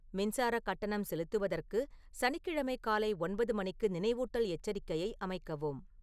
மின்சார கட்டணம் செலுத்துவதற்கு சனிக்கிழமை காலை ஒன்பது மணிக்கு நினைவூட்டல் எச்சரிக்கையை அமைக்கவும்